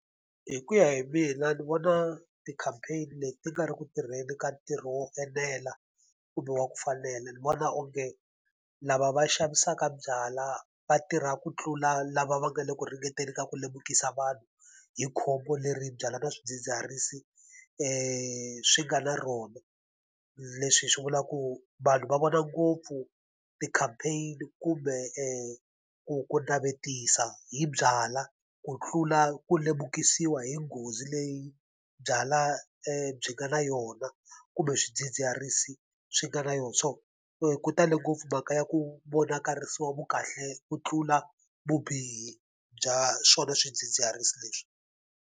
Hi ku ya hi mina ni vona ti-campaign leti ti nga ri ku tirheni ka ntirho wo enela, kumbe wa ku fanela. Ni vona onge lava va xavisaka byalwa va tirhaka ku tlula lava va nga le ku ringeteni ka ku lemukisa vanhu hi khombo leri byalwa ni swidzidziharisi swi nga na rona. Leswi hi swi vulaka ku vanhu va vona ngopfu ti-campaign kumbe ku ku navetisa hi byalwa ku tlula ku lemukisiwa hi nghozi leyi byalwa byi nga na yona kumbe swidzidziharisi swi nga na yona. So ku tale ngopfu mhaka ya ku vonakarisiwa vu kahle ku tlula vubihi bya swona swidzidziharisi leswi.